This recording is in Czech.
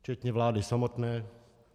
Včetně vlády samotné.